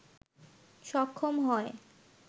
সক্ষম হয়